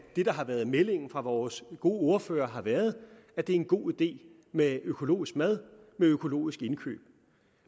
det der har været meldingen fra vores gode ordfører har været at det er en god idé med økologisk mad med økologiske indkøb